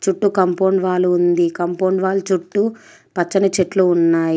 చుట్టూ compound wall ఉంది. Compound wall చుట్టూ పచ్చని చెట్లు ఉన్నాయి.